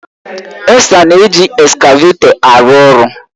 Esther na-eji eskavetọ arụ ọrụ